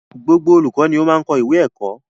Gbogbo olùkọ ni o máa n kọ ìwé ẹkọ.